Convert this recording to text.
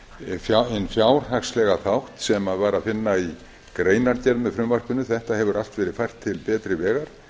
hinn fjárhagslega þátt sem var að finna í greinargerð með frumvarpinu þetta hefur allt verið fært til betri vegar